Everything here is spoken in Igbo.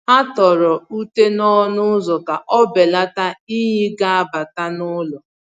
Ha tọrọ ute n’ọnụ ụzọ ka o belata inyi ga abata n’ụlọ.